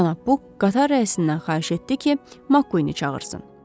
Cənab Buk qatar rəisindən xahiş etdi ki, Makni çağırsın.